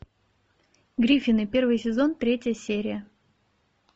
гриффины первый сезон третья серия